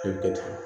I bɛ kɛ